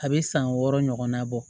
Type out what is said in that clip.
A bɛ san wɔɔrɔ ɲɔgɔn na bɔ